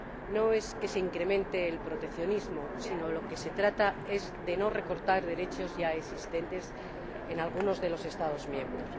No es que se incremente el proteccionismo sino que, de lo que se trata, es de no recortar derechos ya existentes en algunos de los Estados miembros.